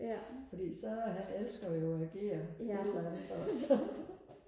fordi så han elsker jo agere et eller andet også